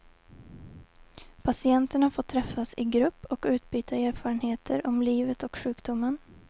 Patienterna får träffas i grupp och utbyta erfarenheter om livet och sjukdomen.